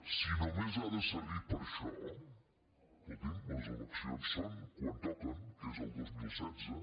si només ha de servir per a això escolti’m les elec·cions són quan toquen que és el dos mil setze